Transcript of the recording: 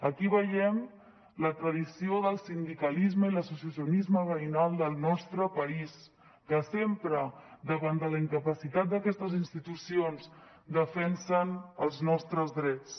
aquí veiem la tradició del sindicalisme i l’associacionisme veïnal del nostre país que sempre davant de la incapacitat d’aquestes institucions defensen els nostres drets